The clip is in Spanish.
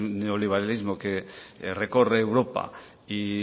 neoliberalismo que recorre europa y